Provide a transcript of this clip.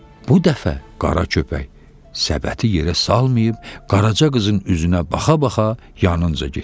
Bu dəfə Qara köpək səbəti yerə salmayıb, Qaraca qızın üzünə baxa-baxa yanınca getdi.